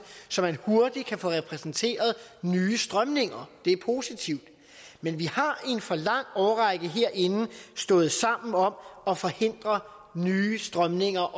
så man hurtigt kan få repræsenteret nye strømninger det er positivt men vi har i en for lang årrække herinde stået sammen om at forhindre nye strømninger